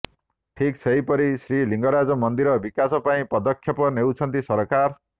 ଠିକ୍ ସେହିପରି ଶ୍ରୀଲିଙ୍ଗରାଜ ମନ୍ଦିର ବିକାଶ ପାଇଁ ପଦକ୍ଷେପ ନେଉଛନ୍ତି ସରକାର